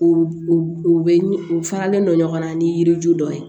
U u bɛ u faralen don ɲɔgɔnna ni yiri ju dɔ ye